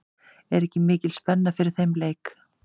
Er ekki mikil spenna fyrir þeim leik?